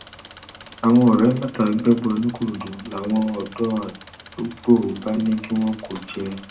àwọn ọrẹ mẹta gbẹbọ nìkòròdú làwọn ọdọ àdúgbò bá ní kí wọn kó o jẹ